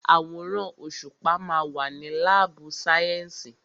Àwòrán òṣùpá ma wà ní lábù sàyẹ́sì.